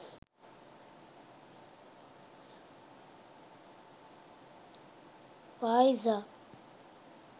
payza